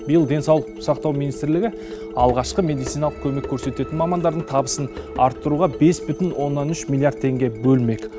биыл денсаулық сақтау министрлігі алғашқы медициналық көмек көрсететін мамандардың табысын арттыруға бес бүтін оннан үш миллиард теңге бөлмек